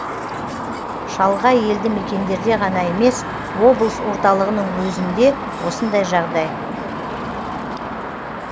шалғай елді мекендерде ғана емес облыс орталығының өзінде осындай жағдай